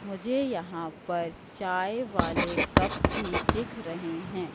मुझे यहां पर चाय वाले कप भी दिख रहे हैं।